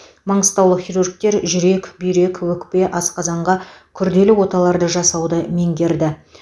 маңғыстаулық хирургтер жүрек бүйрек өкпе асқазанға күрделі оталарды жасауды меңгерді